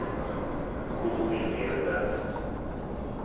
Bodil Hedberg